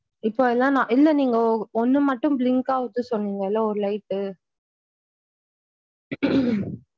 இப்போ எல்லாம் நா இல்ல நீங்க ஒன்னு மட்டும் blink ஆகுது சொன்னிங்கள ஒரு light டு.